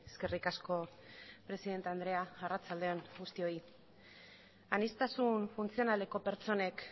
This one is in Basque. eskerrik asko presidente andrea arratsalde on guztioi aniztasun funtzionaleko pertsonek